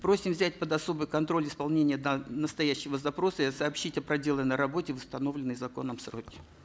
просим взять под особый контроль исполнение настоящего запроса и сообщить о проделанной работе в установленные законом сроки